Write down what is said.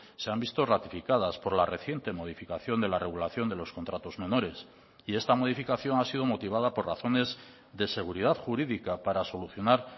se han visto ratificadas por la reciente modificación de la regulación de los contratos menores y esta modificación ha sido motivada por razones de seguridad jurídica para solucionar